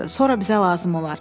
Sonra bizə lazım olar.”